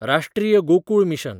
राष्ट्रीय गोकूळ मिशन